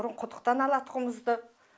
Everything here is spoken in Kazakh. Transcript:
бұрын құдықтан алатұғымызды